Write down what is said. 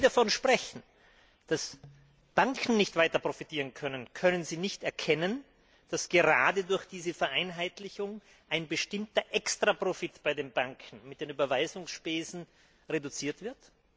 Und wenn Sie davon sprechen, dass die Banken nicht weiter profitieren können, können Sie nicht erkennen, dass gerade durch diese Vereinheitlichung ein bestimmter Extraprofit bei den Banken mit den Überweisungsspesen reduziert wird?